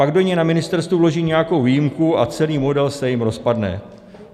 Pak do něj na ministerstvu vloží nějakou výjimku a celý model se jim rozpadne.